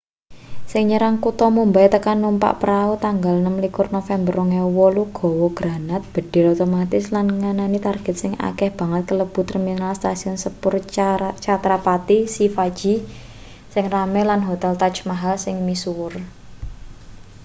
sing nyerang kutha mumbai tekan numpak prau tanggal 26 november 2008 gawa granat bedhil otomatis lan ngenani target sing akeh banget kalebu terminal stasiun sepur chhatrapati shivaji sing rame lan hotel taj maahal sing misuwur